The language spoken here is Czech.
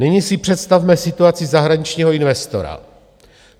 Nyní si představme situaci zahraničního investora.